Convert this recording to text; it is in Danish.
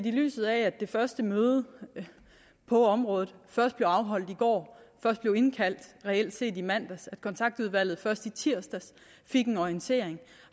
i lyset af at det første møde på området først blev afholdt i går først blev indkaldt reelt set i mandags og at kontaktudvalget først i tirsdags fik en orientering